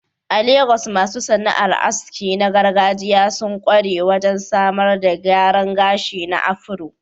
A Legas, masu sana'ar aski na gargajiya sun ƙware wajen samar da gyaran gashi na afro.